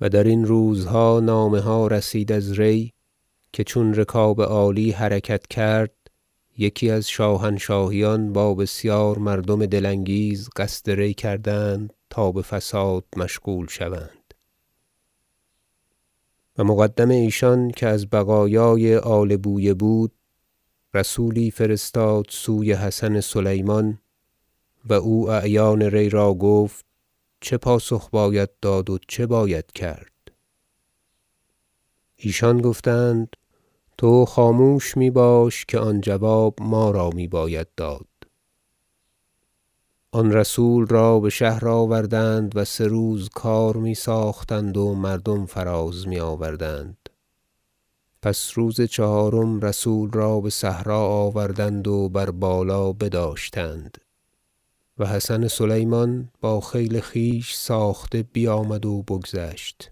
و در این روزها نامه ها رسید از ری که چون رکاب عالی حرکت کرد یکی از شاهنشاهیان با بسیار مردم دل انگیز قصد ری کردند تا به فساد مشغول شوند و مقدم ایشان که از بقایای آل بویه بود رسولی فرستاد سوی حسن سلیمان و او اعیان ری را گفت چه پاسخ باید داد و چه باید کرد ایشان گفتند تو خاموش می باش که آن جواب ما را می باید داد آن رسول را به شهر آوردند و سه روز کار می ساختند و مردم فراز می آوردند پس روز چهارم رسول را به صحرا آوردند و بر بالا بداشتند و حسن سلیمان با خیل خویش ساخته بیامد و بگذشت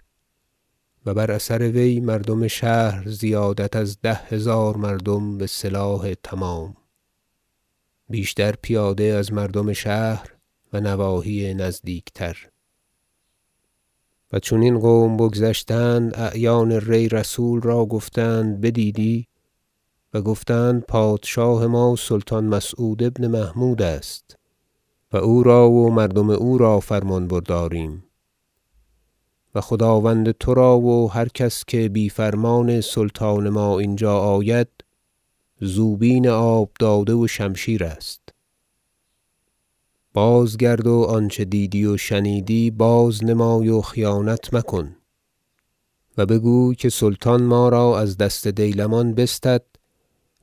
و بر اثر وی مردم شهر زیادت از ده هزار مردم به سلاح تمام بیشتر پیاده از مردم شهر و نواحی نزدیک تر و چون این قوم بگذشتند اعیان ری رسول را گفتند بدیدی و گفتند پادشاه ما سلطان مسعود بن محمود است و او را و مردم او را فرمان برداریم و خداوند ترا و هر کس که بی فرمان سلطان ما اینجا آید زوبین آب داده و شمشیر است بازگرد و آنچه دیدی و شنیدی بازنمای و خیانت مکن و بگوی که سلطان ما را از دست دیلمان بستد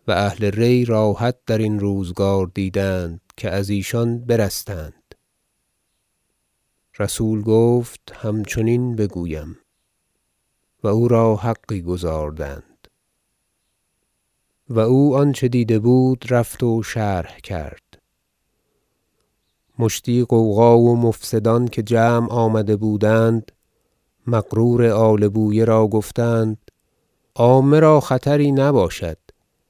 و اهل ری راحت در این روزگار دیدند که از ایشان برستند رسول گفت همچنین بگویم و او را حقی گزاردند و او آنچه دیده بود رفت و شرح کرد مشتی غوغا و مفسدان که جمع آمده بودند مغرور آل بویه را گفتند عامه را خطری نباشد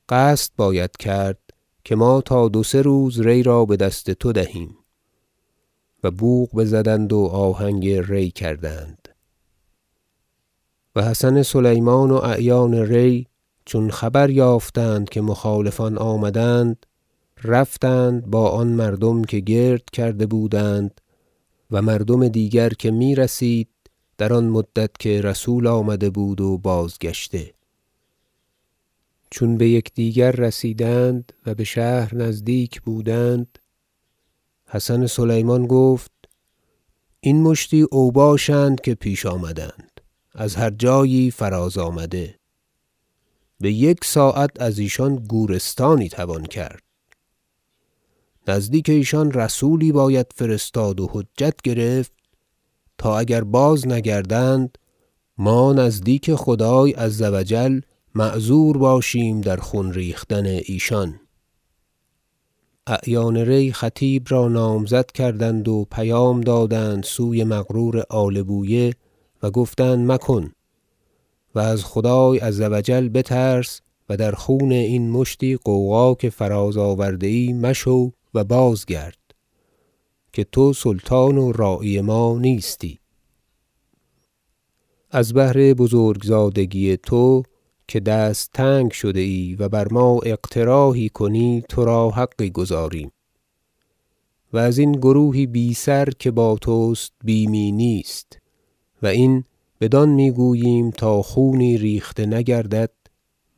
قصد باید کرد که ما تا دو سه روز ری را به دست تو دهیم بوق بزدند و آهنگ ری کردند و حسن سلیمان و اعیان ری چون خبر یافتند که مخالفان آمدند رفتند با آن مردم که گرد کرده بودند و مردم دیگر که می رسید در آن مدت که رسول آمده بود و بازگشته چون به یکدیگر رسیدند -و به شهر نزدیک بودند- حسن سلیمان گفت این مشتی اوباش اند که پیش آمدند از هر جایی فراز آمده به یک ساعت از ایشان گورستانی توان کرد نزدیک ایشان رسولی باید فرستاد و حجت گرفت تا اگر بازنگردند ما نزدیک خدای -عز و جل- معذور باشیم در خون ریختن ایشان اعیان ری خطیب را نامزد کردند و پیغام دادند سوی مغرور آل بویه و گفتند مکن و از خدای -عز و جل- بترس و در خون این مشتی غوغا که فراز آورده ای مشو و بازگرد که تو سلطان و راعی ما نیستی از بهر بزرگ زادگی تو که دست تنگ شده ای و بر ما اقتراحی کنی ترا حقی گزاریم و از این گروهی بی سر که با تست بیمی نیست و این بدان می گوییم تا خونی ریخته نگردد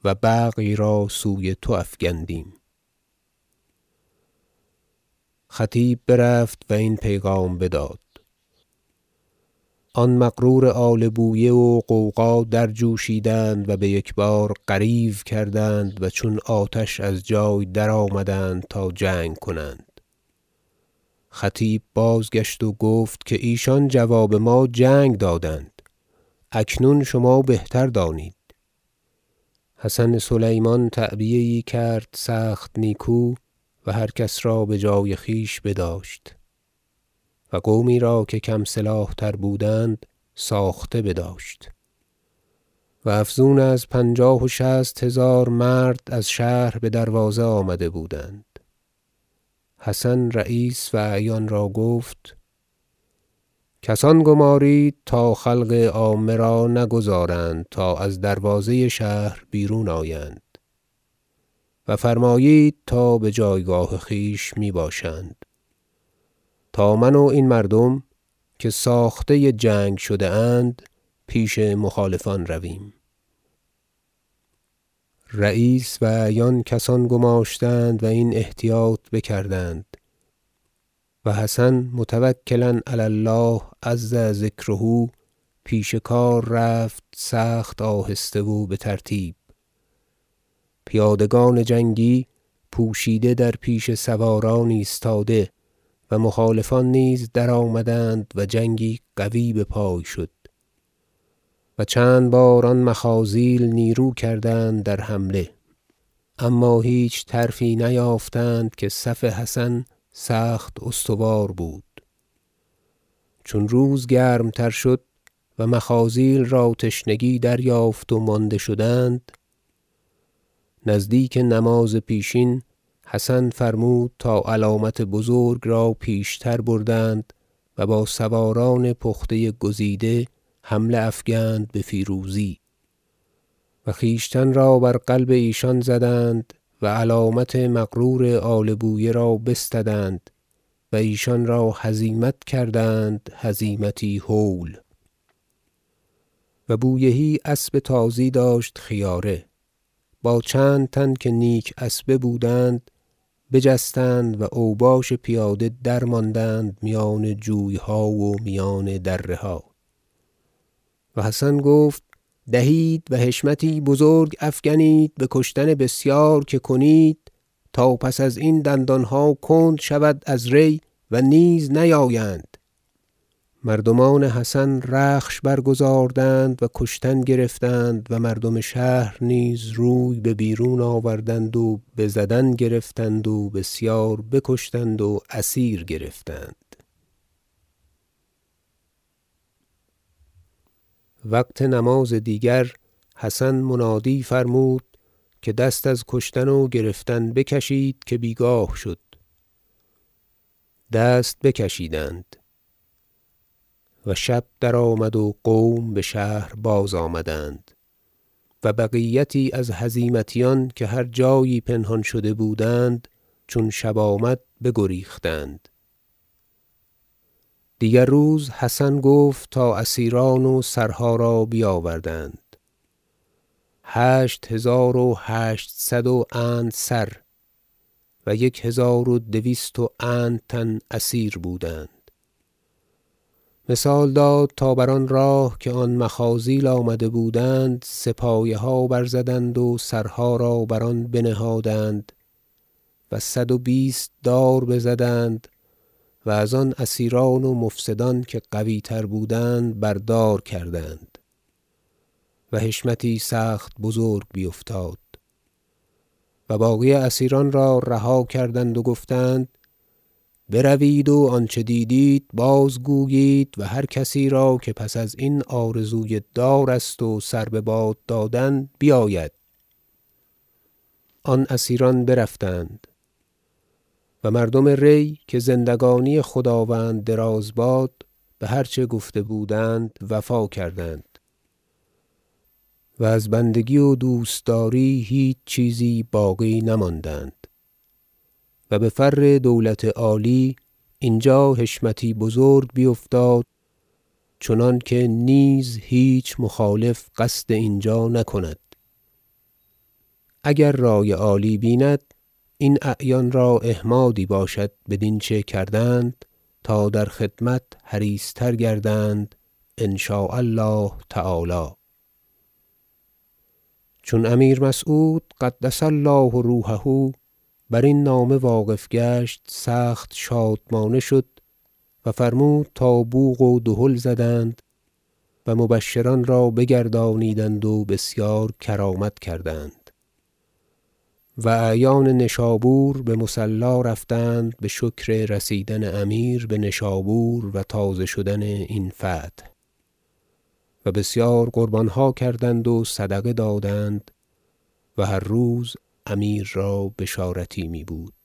و بغی را سوی تو افگندیم خطیب برفت و این پیغام بداد آن مغرور آل بویه و غوغا درجوشیدند و به یکبار غریو کردند و چون آتش از جای درآمدند تا جنگ کنند خطیب بازگشت و گفت که ایشان جواب ما جنگ دادند اکنون شما بهتر دانید حسن سلیمان تعبیه یی کرد سخت نیکو و هر کس را به جای خویش بداشت و قومی را که کم سلاح تر بودند ساخته بداشت و افزون از پنجاه و شصت هزار مرد از شهر به دروازه آمده بودند حسن رییس و اعیان را گفت کسان گمارید تا خلق عامه را نگذارند تا از دروازه شهر بیرون آیند و فرمایید تا به جایگاه خویش می باشند تا من و این مردم که ساخته جنگ شده اند پیش مخالفان رویم رییس و اعیان کسان گماشتند و این احتیاط بکردند و حسن متوکلا علی الله -عز ذکره- پیش کار رفت سخت آهسته و به ترتیب پیادگان جنگی پوشیده در پیش سواران ایستاده و مخالفان نیز درآمدند و جنگی قوی به پای شد و چند بار آن مخاذیل نیرو کردند در حمله اما هیچ طرفی نیافتند که صف حسن سخت استوار بود چون روز گرمتر شد و مخاذیل را تشنگی دریافت و مانده شدند نزدیک نماز پیشین حسن فرمود تا علامت بزرگ را پیشتر بردند و با سواران پخته گزیده حمله افگند به فیروزی و خویشتن را بر قلب ایشان زدند و علامت مغرور آل بویه را بستدند و ایشان را هزیمت کردند هزیمتی هول و بویهی اسب تازی داشت خیاره با چند تن که نیک اسبه بودند بجستند و اوباش پیاده درماندند میان جوی ها و میان دره ها و حسن گفت دهید و حشمتی بزرگ افکنید به کشتن بسیار که کنید تا پس از این دندان ها کند شود از ری و نیز نیایند مردمان حسن رخش برگذاردند و کشتن گرفتند و مردم شهر نیز روی به بیرون آوردند و بزدن گرفتند و بسیار بکشتند و اسیر گرفتند وقت نماز دیگر حسن منادی فرمود که دست از کشتن و گرفتن بکشید که بیگاه شد دست بکشیدند و شب درآمد و قوم به شهر بازآمدند و بقیتی از هزیمتیان که هر جایی پنهان شده بودند چون شب آمد بگریختند دیگر روز حسن گفت تا اسیران و سرها را بیاوردند هشت هزار و هشتصد و اند سر و یک هزار و دویست و اند تن اسیر بودند مثال داد تا بر آن راه که آن مخاذیل آمده بودند سه پایه ها برزدند و سرها را بر آن بنهادند و صدوبیست دار بزدند و از آن اسیران و مفسدان که قوی تر بودند بر دار کردند و حشمتی سخت بزرگ بیفتاد و باقی اسیران را رها کردند و گفتند بروید و آنچه دیدید بازگویید و هر کسی را که پس از این آرزوی دار است و سر به باد دادن بیاید آن اسیران برفتند و مردم ری -که زندگانی خداوند دراز باد- به هر چه گفته بودند وفا کردند و از بندگی و دوست داری هیچ چیزی باقی نماندند و به فر دولت عالی اینجا حشمتی بزرگ بیفتاد چنانکه نیز هیچ مخالف قصد اینجا نکند اگر رأی عالی بیند این اعیان را احمادی باشد بدین چه کردند تا در خدمت حریص تر گردند إن شاء الله تعالی چون امیر مسعود -قدس الله روحه - برین نامه واقف گشت سخت شادمانه شد و فرمود تا بوق و دهل زدند و مبشران را بگردانیدند و بسیار کرامت کردند و اعیان نشابور به مصلی رفتند به شکر رسیدن امیر به نشابور و تازه شدن این فتح و بسیار قربان ها کردند و صدقه دادند و هر روز امیر را بشارتی می بود